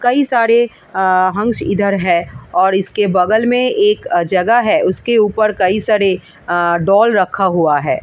कई सारे आ हंस इधर है और इसके बगल में एक जगह है उसके ऊपर कई सारे आ डॉल रखा हुआ है ।